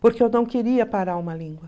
Porque eu não queria parar uma língua.